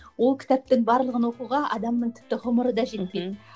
ол кітаптың барлығын оқуға адамның тіпті ғұмыры да жетпейді мхм